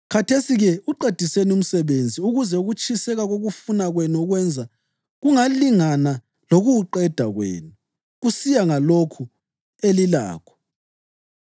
Khathesi-ke uqediseni umsebenzi ukuze ukutshiseka kokufuna kwenu ukwenza kungalingana lokuwuqeda kwenu, kusiya ngalokho elilakho.